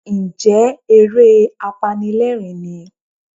Ǹjẹ́ eré apanilẹ́rìń ni?